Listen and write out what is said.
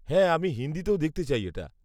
-হ্যাঁ, আমি হিন্দিতেও দেখতে চাই এটা।